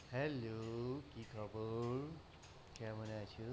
Hello কি খবর কেমন আছো?